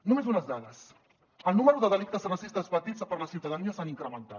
només unes dades el nombre de delictes racistes patits per la ciutadania ha incrementat